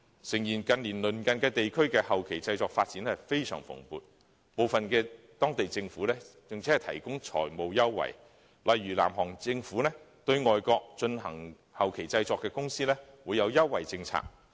誠然，近年鄰近地區的電影後期製作發展非常蓬勃，部分地區的當地政府更提供財務優惠，例如南韓政府對進行後期製作的外國公司設有優惠政策。